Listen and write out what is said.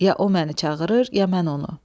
Ya o məni çağırır, ya mən onu.